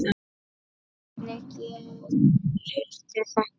Hvernig gerirðu þetta?